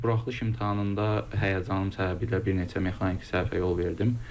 Buraxılış imtahanında həyəcanım səbəbiylə bir neçə mexaniki səhvə yol verdim.